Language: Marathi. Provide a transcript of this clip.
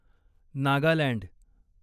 नागालँड